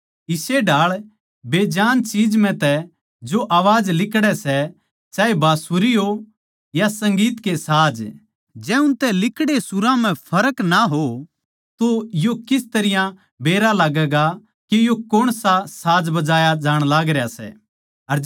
इस्से ढाळ बेजान चीज म्ह तै भी आवाज लिकड़ै सै चाहे बाँसुरी हो या संगीत के साज जै उनतै लिकड़ै सुरां म्ह फर्क ना हो तो यो किस तरियां बेरा लाग्गैगा के यो कौण सा साज बजाया जाण लाग रह्या सै